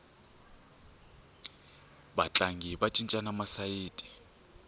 vatlangi va cincana masayiti